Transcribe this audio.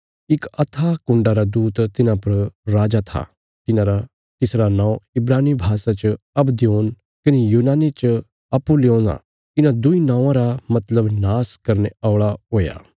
इक अथाह कुण्डा रा दूत तिन्हां पर राजा था तिसरा नौं इब्रानी भाषा च अबद्योन कने यूनानी च अपुल्लयोन आ इन्हां दुईं नौआं रा मतलब नाश करने औल़ा हुया